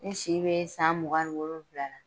N si be san mugan ni wolonwula la.